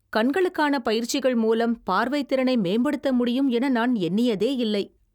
கண்களுக்கான பயிற்சிகளின் மூலம் பார்வைத்திறனை மேம்படுத்த முடியும் என நான் எண்ணியதேயில்லை.